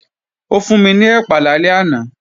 Ó fún mi ní ẹ̀pà lálẹ́ àná